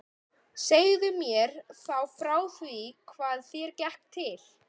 Segðu mér þá frá því hvað þér gekk til.